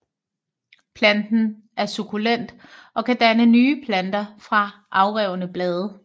Planten er sukkulent og kan danne nye planter fra afrevne blade